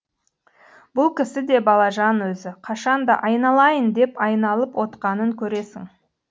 бұл кісі де балажан өзі қашан да айналайын деп айналып отқанын көресің